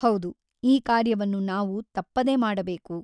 ಹೌದು ಈ ಕಾರ್ಯವನ್ನು ನಾವು ತಪ್ಪದೆ ಮಾಡಬೇಕು.